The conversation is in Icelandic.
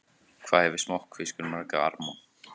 Hvað hefur smokkfiskur marga arma?